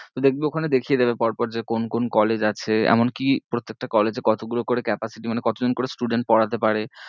দেখবি ওখানে দেখিয়ে দেবে পর পর যে কোন কোন college আছে এমন কি প্রত্যেকটা college এ কতগুলো করে capacity মানে কত জন করে student পড়াতে পারে